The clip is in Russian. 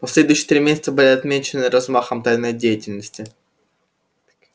последующие три месяца были отмечены размахом тайной деятельности